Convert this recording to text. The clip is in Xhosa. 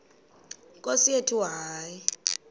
nkosi yethu hayi